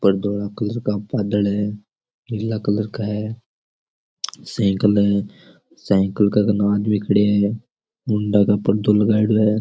पर धोला कलर का बादल है नीला कलर का है साइकिल है साइकिल के कने एक आदमी खड़यो है मुंडाके पर्दो लगायोडो है।